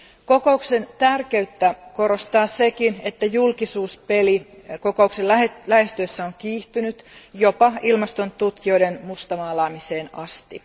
Kokouksen tärkeyttä korostaa sekin, että julkisuuspeli kokouksen lähestyessä on kiihtynyt jopa ilmastontutkijoiden mustamaalaamiseen asti.